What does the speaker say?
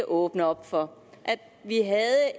åbne op for at vi havde